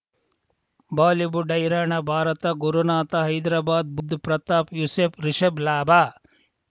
Bollywood ಹೈರಾಣ ಭಾರತ ಗುರುನಾಥ ಹೈದ್ರಾಬಾದ್ ಬುಧ್ ಪ್ರತಾಪ್ ಯೂಸುಫ್ ರಿಷಬ್ ಲಾಭ